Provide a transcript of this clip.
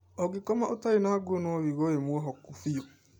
Ũngĩkoma ũtarĩ ngũo no wĩigũe wĩ mũohoku bĩũ